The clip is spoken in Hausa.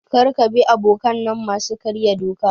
Kar ka bi abokanai masu karya doka.